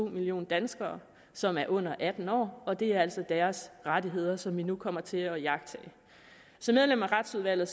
millioner danskere som er under atten år og det er altså deres rettigheder som vi nu kommer til at iagttage som medlem af retsudvalget